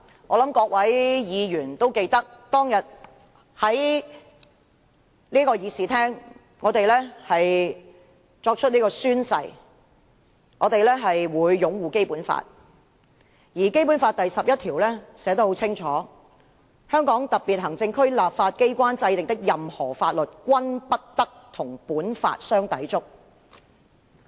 我相信各位議員都記得，當天我們在議事廳內宣誓，我們會擁護《基本法》，而《基本法》第十一條寫得很清楚，"香港特別行政區立法機關制定的任何法律，均不得同本法相抵觸"。